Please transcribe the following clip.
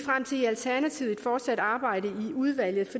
i alternativet fortsat arbejde i udvalget